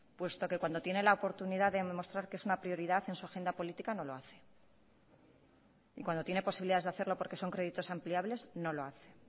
puesto que cuando tiene la oportunidad de demostrar que es una prioridad en su agenda política no lo hace y cuando tiene posibilidades de hacerlo porque son créditos ampliables no lo hace